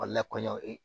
lakɔɲɔli